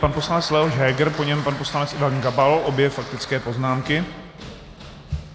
Pan poslanec Leoš Heger, po něm pan poslanec Ivan Gabal, obě faktické poznámky.